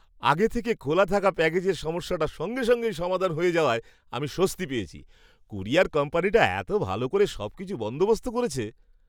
আগে থেকে খোলা থাকা প্যাকেজের সমস্যাটা সঙ্গে সঙ্গেই সমাধান হয়ে যাওয়ায় আমি স্বস্তি পেয়েছি। ক্যুরিয়ার কোম্পানিটা এত ভালো করে সবকিছু বন্দোবস্ত করেছে!